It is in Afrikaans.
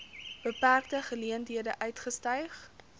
beperkte geleenthede uitgestyg